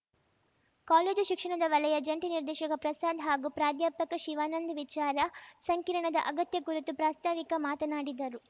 college ಶಿಕ್ಷಣದ ವಲಯ ಜಂಟಿ ನಿರ್ದೇಶಕ ಪ್ರಸಾದ್‌ ಹಾಗೂ ಪ್ರಾಧ್ಯಾಪಕ ಶಿವಾನಂದ್‌ ವಿಚಾರ ಸಂಕಿರಣದ ಅಗತ್ಯ ಕುರಿತು ಪ್ರಾಸ್ತಾವಿಕ ಮಾತನಾಡಿದರು